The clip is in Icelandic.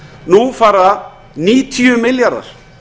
nú fara níutíu milljarðar